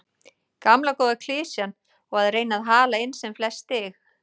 Gamla góða klisjan og að reyna að hala inn sem flest stig.